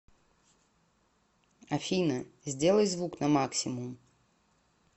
афина сделай звук на максимум